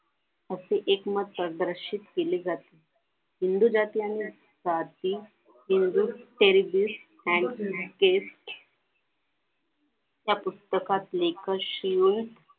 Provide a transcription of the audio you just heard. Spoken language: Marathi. असे एकमत केले जाते हिंदू जातीयांना हिंदू त्या पुस्तकात लेख लिहून